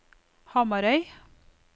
Hamarøy